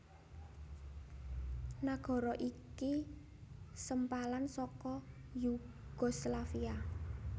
Nagara iki sempalan saka Yugoslavia